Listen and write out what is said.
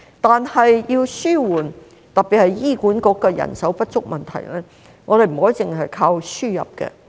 但是，要紓緩特別是醫管局人手不足的問題，我們不可單靠輸入。